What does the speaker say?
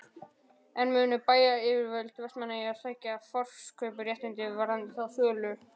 En munu bæjaryfirvöld Vestmannaeyja sækja forkaupsréttinn varðandi þá sölu?